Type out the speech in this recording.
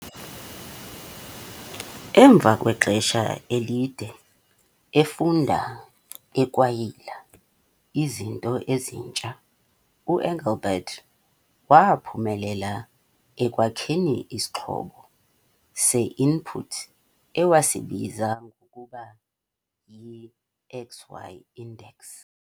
Emva kwexesha elide efunda ekwayila izinto ezintsha, uEngelbart waaphumelela ekwakheni isixhobo se-input ewasibiza ngokuba yi- 'XY index'.